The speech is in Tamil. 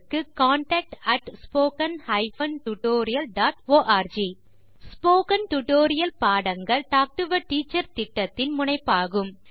contact at spoken hyphen tutorial dot org spoken tutorial பாடங்கள் டாக் டு எ டீச்சர் திட்டத்தின் முனைப்பாகும்